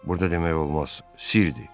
Burada demək olmaz, sirdir.